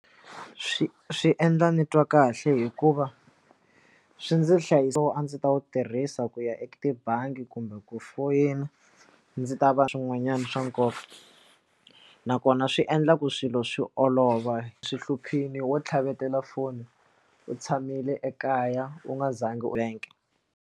Swi swi endla ni twa kahle hikuva swi ndzi nhlayiso a ndzi ta wu tirhisa ku ya eka tibangi kumbe ku foyina ndzi ta va swin'wanyana swa nkoka nakona swi endla ku swilo swi olova swi hluphiwi wo tlhavetela foni u tshamile ekaya u nga zangi u bank.